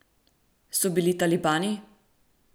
So bili talibani?